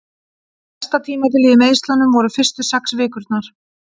Versta tímabilið í meiðslunum voru fyrstu sex vikurnar.